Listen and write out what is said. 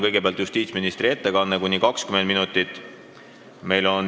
Kõigepealt on justiitsministri ettekanne, mis kestab kuni 20 minutit.